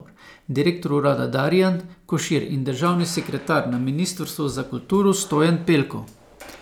Direktor urada Darijan Košir in državni sekretar na ministrstvu za kulturo Stojan Pelko.